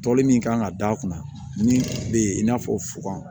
Tɔli min kan ka d'a kunna min bɛ yen i n'a fɔ fukan